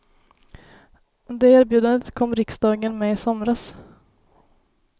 Det erbjudandet kom riksdagen med i somras.